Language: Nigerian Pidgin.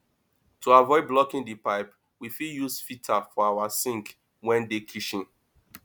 to avoid blocking di pipe we fit use filter for our sink wey dey kitchen